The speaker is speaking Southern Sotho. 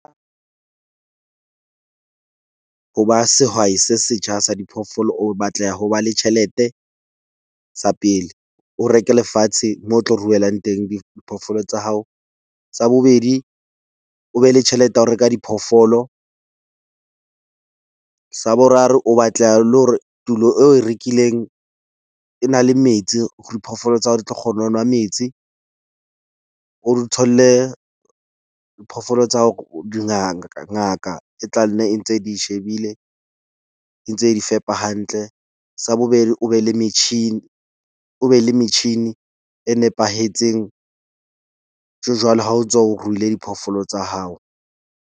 Ho ba sehwai se setjha sa diphoofolo o batleha ho ba le tjhelete sa pele. O reke lefatshe moo o tlo ruelang teng diphoofolo tsa hao. Sa bobedi, o be le tjhelete ya ho reka diphoofolo. Sa boraro, o batleha le hore tulo eo o e rekileng e na le metsi diphoofolo tsa hao di tlo kgona ho nwa metsi. O di tholle phoofolo tsa hao dingaka ngaka e tla nne ntse di shebile, e ntse di fepa hantle. Sa bobedi o be le metjhini, o be le metjhini e nepahetseng jwale ha o tswa o ruile diphoofolo tsa hao.